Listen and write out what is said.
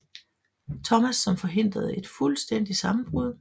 Thomas som forhindrede et fuldstændigt sammenbrud